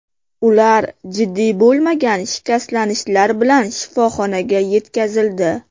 Ular jiddiy bo‘lmagan shikastlanishlar bilan shifoxonaga yetkazildi.